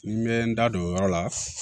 Ni n bɛ n da don o yɔrɔ la